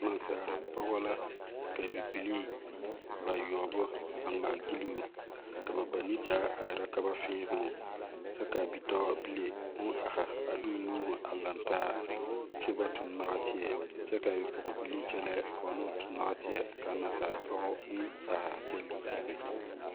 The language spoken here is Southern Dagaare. Naasaalpɔgɔ la ka bibilii bayuobo a ngmaa kyiluu ka ba banuu zaa a ire ka ba fiinuu kye kaa bidoɔbilee ɔn arẽ a de ɔ nuuri a liri taa kyuu ba tung noɔtei kye ka a bibilii kye lɛɛ ka ba na tung noɔtei naasaalpɔgɔ ɔn arẽ a kye leen hi be.